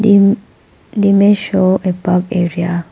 Thim the image show a park area.